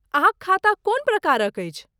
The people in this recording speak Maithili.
अहाँक खाता कोन प्रकारक अछि?